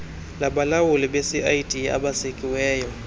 labalawuli becid esekiweyo